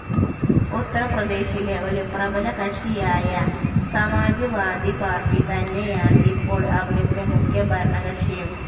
ഉത്തർപ്രദേശിലെ ഒരു പ്രബലകക്ഷിയായ സമാജ്‍വാദി പാർട്ടി തന്നെയാണ് ഇപ്പോൾ അവിടുത്തെ മുഖ്യ ഭരണകക്ഷിയും.